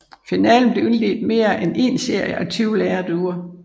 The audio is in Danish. Finalen bliver indledt med én serie af 20 lerduer